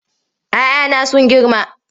"ya 'ya na sun girma.